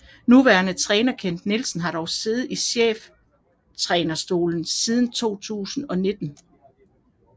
Nuværende træner Kent Nielsen har dog siddet i cheftrænerstolen siden 2019